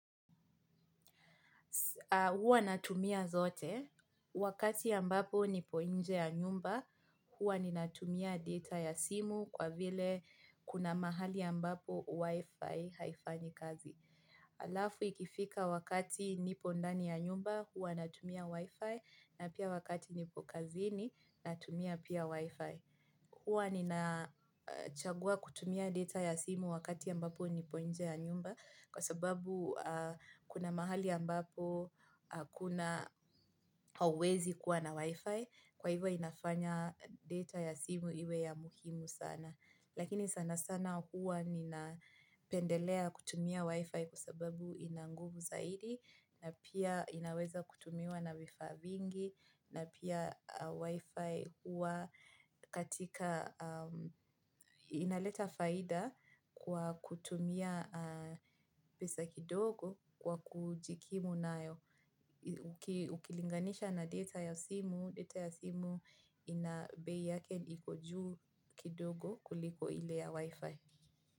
Huwa natumia zote, wakati ambapo nipo nje ya nyumba, huwa ninatumia data ya simu kwa vile kuna mahali ya mbapo wifi haifanyi kazi. Alafu ikifika wakati nipo ndani ya nyumba, huwa natumia wifi na pia wakati nipo kazini natumia pia wifi. Huwa ninachagua kutumia data ya simu wakati ambapo nipo nje ya nyumba kwa sababu kunamahali ambapo hakuna huwezi kuwa na wifi hivyo inafanya data ya simu iwe ya muhimu sana. Lakini sana sana huwa nina pendelea kutumia wi-fi kusababu inanguvu zaidi na pia inaweza kutumiwa na vifaa vingi na pia wi-fi huwa katika inaleta faida kwa kutumia pesa kidogo kwa kujikimu nayo. Ukilinganisha na data ya simu data ya simu ina bei yake iko juu kidogo kuliko ile ya wifi.